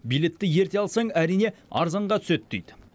билетті ерте алсаң әрине арзанға түседі дейді